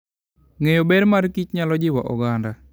Ng'eyo ber mar kich nyalo jiwo oganda.